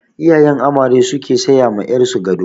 Iyayen amare su ke saya ma ƴar su gado.